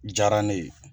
Diyara ne ye